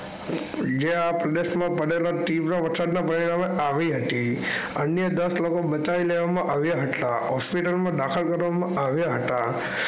જે આ પ્રદેશ માં પડેલા ત્રીવ વરસાદ ના પરિણામે આવી હતી અન્ય દસ લોકો બચાવી લેવામાં આવ્યા હતા હોસ્પિટલ માં દાખલ કરવા માં આવ્યા હતા.